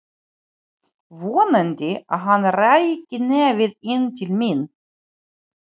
Vonaði að hann ræki nefið inn til mín.